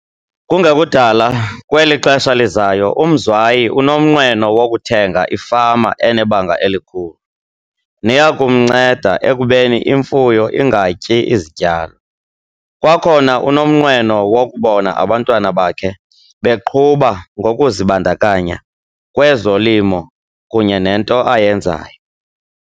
Kungekudala kweli xesha lizayo uMzwayi unomnqweno wokuthenga ifama enebanga elikhulu, neya kumnceda ekubeni imfuyo ingatyi izityalo. Kwakhona unomnqweno wokubona abantwana bakhe beqhuba ngokuzibandakanya kwezolimo kunye nento ayenzayo.